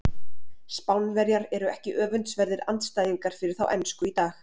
Spánverjar eru ekki öfundsverðir andstæðingar fyrir þá ensku í dag.